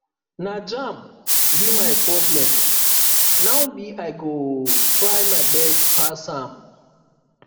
na jamb be my problem now but i go try my best pass am